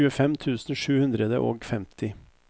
tjuefem tusen sju hundre og femti